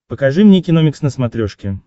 покажи мне киномикс на смотрешке